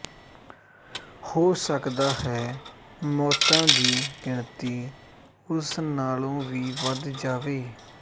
ਹੋ ਸਕਦਾ ਹੈ ਮੌਤਾਂ ਦੀ ਗਿਣਤੀ ਉਸ ਨਾਲੋਂ ਵੀ ਵਧ ਜਾਵੇ